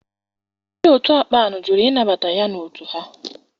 Ndị otu akpan jụrụ ịnabata ya n'otu ha.